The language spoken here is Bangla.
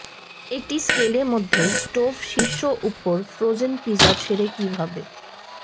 একটি স্কেলে মধ্যে স্টোভ শীর্ষ উপর ফ্রোজেন পিজা ছেড়ে কিভাবে